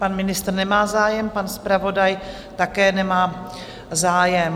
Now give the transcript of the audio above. Pan ministr nemá zájem, pan zpravodaj také nemá zájem.